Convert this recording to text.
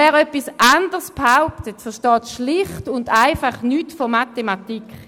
Wer etwas anderes behauptet, versteht schlicht und einfach nichts von Mathematik.